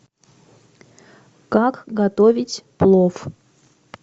как готовить плов